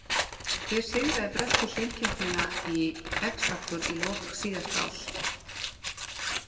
Hver sigraði bresku söngkennina X Factor í lok síðasta árs?